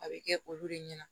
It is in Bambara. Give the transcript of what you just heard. A bɛ kɛ olu de ɲɛna